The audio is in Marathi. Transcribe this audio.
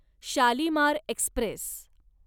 शालिमार एक्स्प्रेस